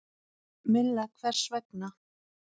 Milla: Hvers vegna?